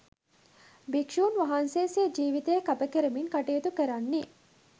භික්‍ෂූන් වහන්සේ සිය ජීවිතය කැප කරමින් කටයුතු කරන්නේ